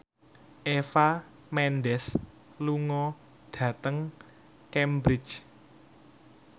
Eva Mendes lunga dhateng Cambridge